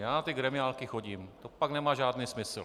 Já na ty gremiálky chodím, to pak nemá žádný smysl.